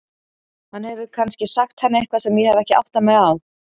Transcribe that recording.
Hann hefur kannski sagt henni eitthvað sem ég hef ekki áttað mig á.